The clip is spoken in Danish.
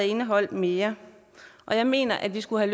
indeholdt mere jeg mener at vi skulle